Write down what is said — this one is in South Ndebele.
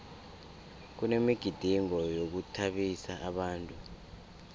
kunemigidingo yokuthabisa abantu